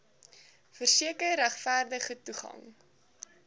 verseker regverdige toegang